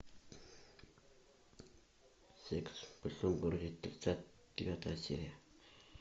секс в большом городе тридцать девятая серия